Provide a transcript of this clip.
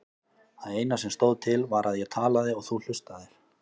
Það eina sem stóð til var að ég talaði og þú hlustaðir.